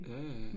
Ja ja